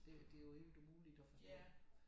Det det jo helt umuligt at forstå